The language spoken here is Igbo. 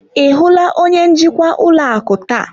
Ị hụla onye njikwa ụlọ akụ taa?